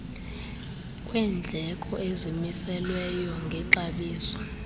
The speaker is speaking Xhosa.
kwendleko ezimiselweyo ngexabiso